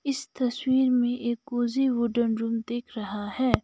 इस तस्वीर में एक कोज़ी वुडेन रूम दिख रहा है।